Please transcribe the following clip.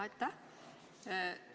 Aitäh!